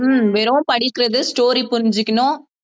ஹம் வெறும் படிக்கிறது story புரிஞ்சுக்கணும்